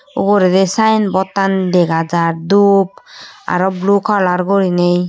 uguredi sign board an dega jar dhup aro blue colour guriney.